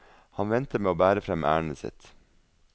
Han venter med å bære frem ærendet sitt.